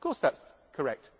Of course that is correct.